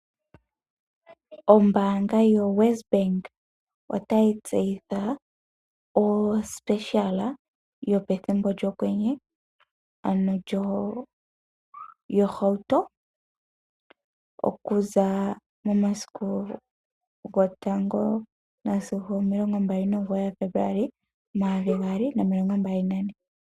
Ombaanga yoWesBank otayi tseyitha ofanditha yopethimbo lyokwenye, ano yohauto okuza momasiku 1 sigo 29 Febuluali 2024.